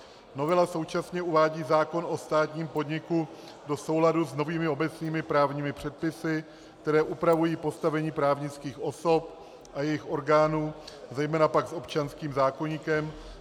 Novela současně uvádí zákon o státním podniku do souladu s novými obecnými právními předpisy, které upravují postavení právnických osob a jejich orgánů, zejména pak s občanským zákoníkem.